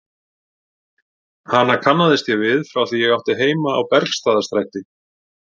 Hana kannaðist ég við frá því ég átti heima á Bergstaðastræti.